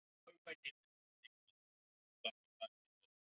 Þeir héldu sig í námunda við Íslendingana.